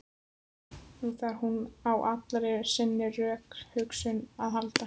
Nú þarf hún á allri sinni rökhugsun að halda.